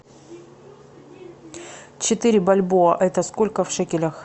четыре бальбоа это сколько в шекелях